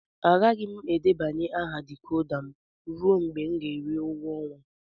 Agaghị m debanye aha decoder m ruo mgbe m ga-eri ụgwọ ọnwa.